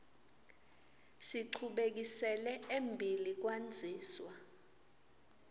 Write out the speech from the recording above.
sichubekisele embili kwandziswa